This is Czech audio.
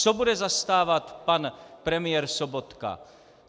Co bude zastávat pan premiér Sobotka?